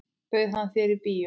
Bauð hann þér í bíó?